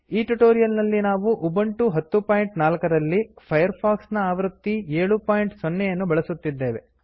ಈ ಟ್ಯುಟೋರಿಯಲ್ ನಲ್ಲಿ ನಾವು ಉಬಂಟು 1004 ರಲ್ಲಿ ಫೈರ್ ಫಾಕ್ಸ್ ನ ಆವೃತ್ತಿ 70 ಯನ್ನು ಬಳಸುತ್ತಿದ್ದೇವೆ